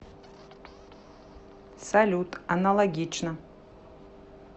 салют аналогично